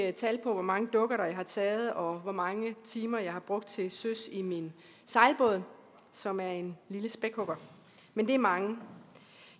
ikke tal på hvor mange dukkerter jeg har taget og hvor mange timer jeg har brugt til søs i min sejlbåd som er en lille spækhugger men det er mange